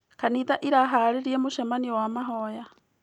Kanitha ĩraharĩrĩa mũcemanio wa mahoya.